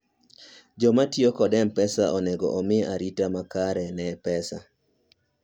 jo matiyo kod mpesa onego omi arita makare ne pesa